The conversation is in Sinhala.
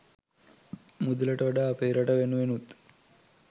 මුදලට වඩා අපේ රට වෙනුවෙනුත්